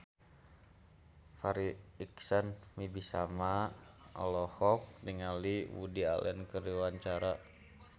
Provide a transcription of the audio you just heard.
Farri Icksan Wibisana olohok ningali Woody Allen keur diwawancara